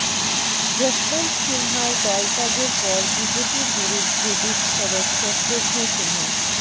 যশবন্ত সিনহার দলত্যাগের পর বিজেপির বিরুদ্ধে বিস্ফোরক শত্রুঘ্ন সিনহা